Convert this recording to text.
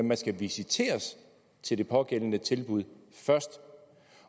man skal visiteres til det pågældende tilbud først